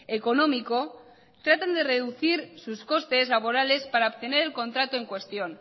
económico tratan de reducir sus costes laborales para obtener el contrato en cuestión